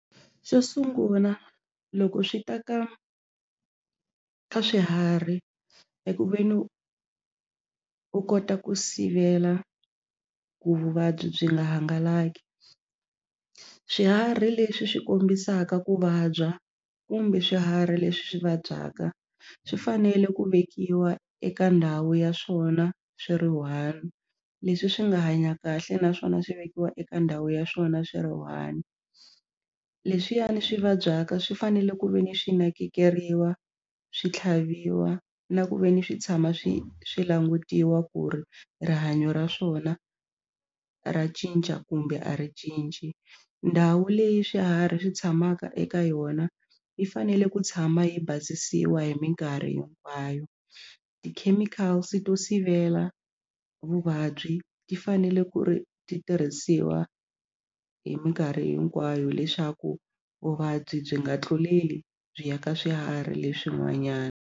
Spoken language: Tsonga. Xo sungula loko swi ta ka ka swiharhi eku ve ni u u kota ku sivela ku vuvabyi byi nga hangalaki swiharhi leswi swi kombisaka ku vabya kumbe swiharhi leswi swi vabyaka swi fanele ku vekiwa eka ndhawu ya swona swi ri one leswi swi nga hanya kahle naswona swi vekiwa eka ndhawu ya swona swi ri one leswiyani swi vabyaka swi fanele ku ve ni swi nakekeriwa swi tlhaviwa na ku ve ni swi tshama swi swi langutiwa ku ri rihanyo ra swona ra cinca kumbe a ri cinci ndhawu leyi swiharhi swi tshamaka eka yona yi fanele ku tshama yi basisiwa hi minkarhi hinkwayo ti-chemicals to sivela vuvabyi ti fanele ku ri ti tirhisiwa hi mikarhi hinkwayo leswaku vuvabyi byi nga tluleli byi ya ka swiharhi leswin'wanyana.